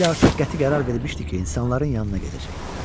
Maquli artıq qəti qərar vermişdi ki, insanların yanına gedəcək.